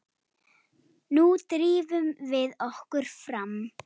Nú drífum við okkur fram!